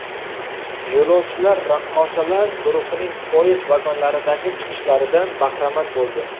Yo‘lovchilar raqqosalar guruhining poyezd vagonlaridagi chiqishlaridan bahramand bo‘ldi.